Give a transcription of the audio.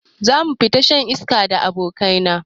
Zamu fita shan iska da abokai na